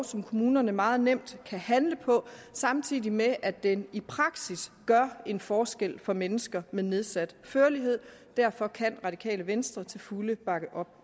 som kommunerne meget nemt kan handle på samtidig med at det i praksis gør en forskel for mennesker med nedsat førlighed derfor kan radikale venstre til fulde bakke op